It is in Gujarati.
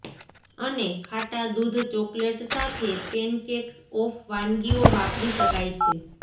અને ખાટા દૂધ ચોકલેટ સાથે પૅનકૅક્સ ઓફ વાનગીઓ વાપરી શકાય છે